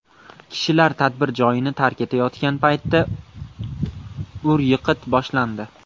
Kishilar tadbir joyini tark etayotgan paytda ur-yiqit boshlandi.